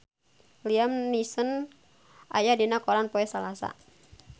Liam Neeson aya dina koran poe Salasa